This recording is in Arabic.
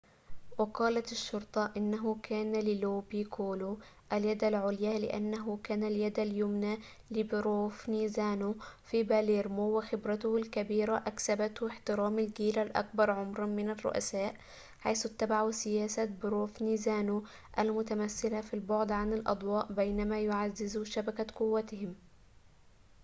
وقالت الشّرطة إنه كان للو بيكولو اليدَ العليا لأنّه كان اليد اليمنى لبروفنزانو في باليرمو وخبرته الكبيرة أكسبته احترام الجيل الأكبر عمراً من الرّؤساء حيث اتّبعوا سياسة بروفنزانو المتمثّلة في البعدِ عن الأضواء بينما يعزّزوا شبكة قوتهم